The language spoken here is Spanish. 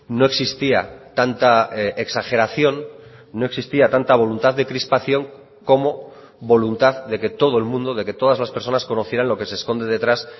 no existía tanta exageración no existía tanta voluntad de crispación como voluntad de que todo el mundo de que todas las personas conocieran lo que se esconde detrás